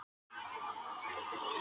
Úti herti frostið.